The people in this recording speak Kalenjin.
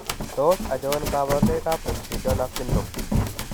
Tos achon kabarunaik ab McDonough syndrome ?